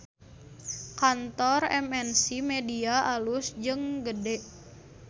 Kantor MNC Media alus jeung gede